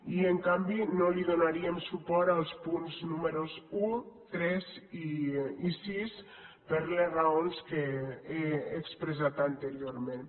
i en canvi no donaríem suport als punts números un tres i sis per les raons que he expressat anteriorment